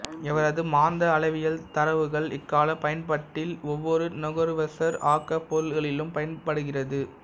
இவரது மாந்த அளவியல் தரவுகள் இக்காலப் பயன்பட்டில் ஒவ்வொரு நுகர்வுசார் ஆக்கப் பொருள்களிலும் பயன்படுகிறது